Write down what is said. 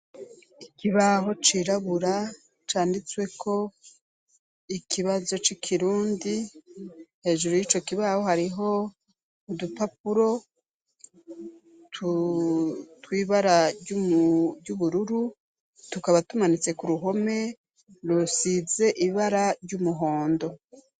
Ikibaho cirabura canditsweko ikibazo c'ikirundi. Hejuru y'ico kibaho, hariho udupapuro twibara ry'ubururu, tukaba tumanitse k'uruhome rusize ibara ry'umuhondo.